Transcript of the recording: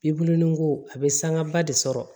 I bolonɔn a bɛ sanga ba de sɔrɔ